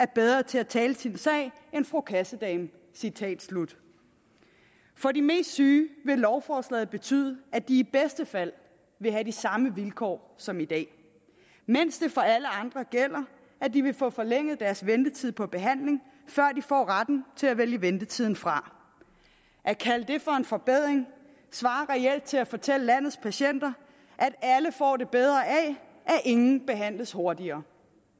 bedre til at tale sin sag end fru kassedame citat slut for de mest syge vil lovforslaget betyde at de i bedste fald vil have de samme vilkår som i dag mens det for alle andre gælder at de vil få forlænget deres ventetid på behandling før de får retten til at vælge ventetiden fra at kalde det for en forbedring svarer reelt til at fortælle landets patienter at alle får det bedre af at ingen behandles hurtigere